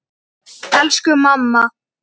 Elsku mamma!